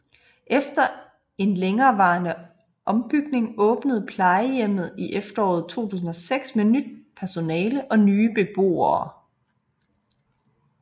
Efter en længerevarende ombygning åbnede plejehjemmet i efteråret 2006 med nyt personale og nye beboere